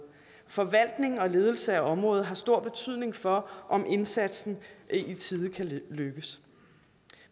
forvaltning og ledelse af området har stor betydning for om indsatsen i tide kan lykkes